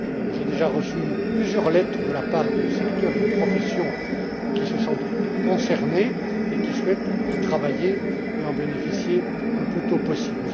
J'ai déjà reçu plusieurs lettres de la part des secteurs et des professions qui se sentent concernés et souhaitent y travailler et en bénéficier le plus tôt possible.